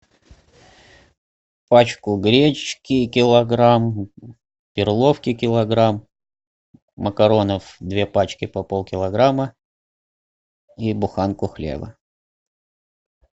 пачку гречки килограмм перловки килограмм макаронов две пачки по полкилограмма и буханку хлеба